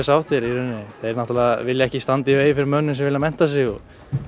sáttir í rauninni þeir náttúrulega vilja ekki standa í vegi fyrir mönnum sem vilja mennta sig